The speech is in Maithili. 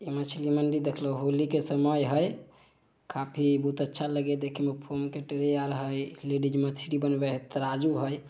ये मछली मंडी देख लो होली के समय है काफी बहुत अच्छा लगे है देखे मे एक लेडिज मछली बनवेए हेय तराजू हय।